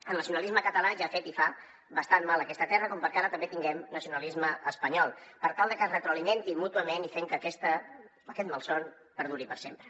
el nacionalisme català ja ha fet i fa bastant mal a aquesta terra com perquè ara també tinguem nacionalisme espanyol per tal de que es retroalimentin mútuament i fent que aquest malson perduri per sempre